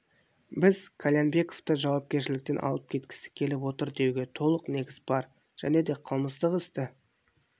біз қальянбековты жауапкершіліктен алып кеткісі келіп отыр деуге толық негіз бар және де қылмыстық істі